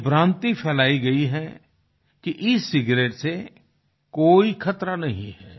ये भ्रान्ति फैलाई गई है कि एसिगेरेट से कोई खतरा नहीं है